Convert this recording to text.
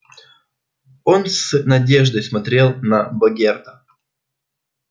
он с надеждой смотрел на богерта